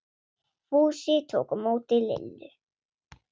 Fúsi tók á móti Lillu.